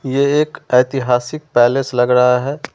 ये एक ऐतिहासिक पैलेस लग रहा है।